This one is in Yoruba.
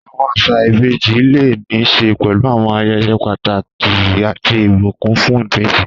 Àwọn àṣà ìbejì lè ní í ṣe pẹ̀lú àwọn ayẹyẹ pàtàkì àti ìbùkún fún ìbejì.